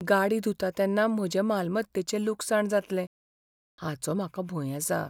गाडी धुता तेन्ना म्हजे मालमत्तेचें लुकसाण जातलें हाचो म्हाका भंय आसा.